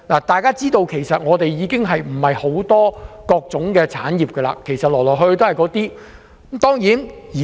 大家都知道，其實香港沒有多元化的產業，來來去去都是一些傳統的產業。